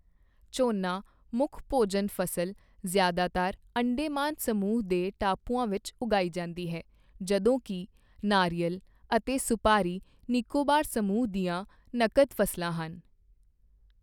ਝੋਨਾ, ਮੁੱਖ ਭੋਜਨ ਫਸਲ, ਜ਼ਿਆਦਾਤਰ ਅੰਡੇਮਾਨ ਸਮੂਹ ਦੇ ਟਾਪੂਆਂ ਵਿੱਚ ਉਗਾਈ ਜਾਂਦੀ ਹੈ, ਜਦੋਂ ਕੀ ਨਾਰੀਅਲ ਅਤੇ ਸੁਪਾਰੀ ਨਿਕੋਬਾਰ ਸਮੂਹ ਦੀਆਂ ਨਕਦ ਫ਼ਸਲਾਂ ਹਨ।